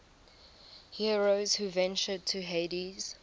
heroes who ventured to hades